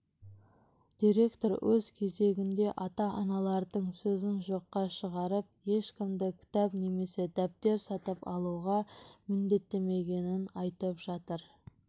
директор өз кезегінде ата-аналардың сөзін жоққа шығарып ешкімді кітап немесе дәптер сатып алуға міндеттемегенін айтып жатыр